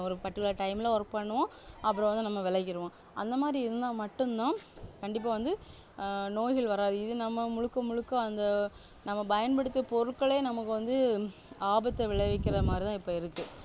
ஒரு particular time ல work பண்ணுவோம் அப்பறம் வந்து நம்ம விலகியிருவோம் அந்தமாதிரி இருந்தா மட்டும்தான் கண்டிப்பா வந்து ஆஹ் நோய்கள் வராது இது நம்ம முழுக்க முழுக்க அந்த நம்ம பயன்படுத்தும் பொருட்களே நமக்கு வந்து ஆபத்தை விளைவிக்கிற மாதிரி தான் இப்போ இருக்கு